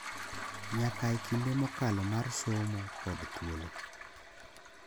Nyaka e kinde mokalo mar somo kod thuolo,